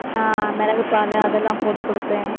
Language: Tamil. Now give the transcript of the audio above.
அஹ் மிளகு பாலு அதெல்லாம் போட்டு கொடுப்பேன்